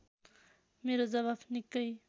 मेरो जवाफ निकै